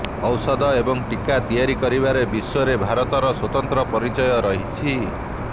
ଔଷଧ ଏବଂ ଟିକା ତିଆରି କରିବାରେ ବିଶ୍ୱରେ ଭାରତର ସ୍ୱତନ୍ତ୍ର ପରିଚୟ ରହିଛି